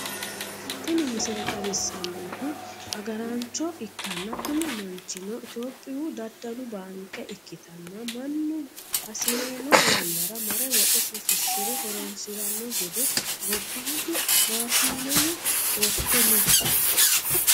tini misile xawissannohu agaaraancho ikkanna, kuni manchino itiyoophiyu daddalu baanke ikkitanna, mannu hasi'rino yannanni mare woxesi fushshi're horonsi'ranno gede gobbaanni maashineno worte no.